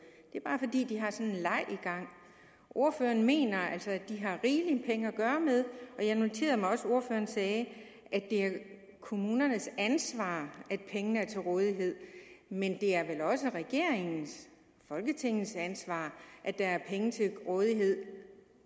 det er bare fordi de har sådan en leg i gang ordføreren mener altså at de har rigeligt med penge at gøre godt med jeg noterede mig også at ordføreren sagde at det er kommunernes ansvar at pengene er til rådighed men det er vel også regeringens folketingets ansvar at der er penge til rådighed